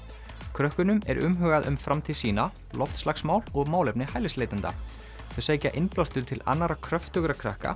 krökkunum er umhugað um framtíð sína loftslagsmál og málefni hælisleitenda þau sækja innblástur til annarra kröftugra krakka